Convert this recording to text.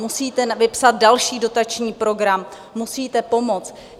Musíte vypsat další dotační program, musíte pomoct!